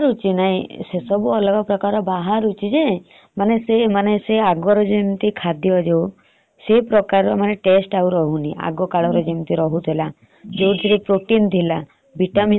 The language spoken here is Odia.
ବାହାରୁଛି ନାହି ସେ ସବୁ ଅଲଗା ପ୍ରକାର ବାହାରୁଛି ଯେ ମାନେ ସେ ଅଗର ଯେମତି ଖାଦ୍ୟ ଯୋଉ ସେ taste ଆଉ ରାହୁନି ଆଗ କାଳରେ ଯେମତି ରହୁଥିଲା। vitamin ଥିଲା। ସେ ଯୁକ୍ତ ଆଉ ମିଳୁଛି ଆମକୁ ?